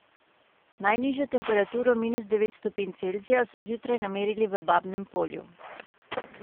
Najnižjo temperaturo minus devet stopinj Celzija so zjutraj namerili v Babnem Polju.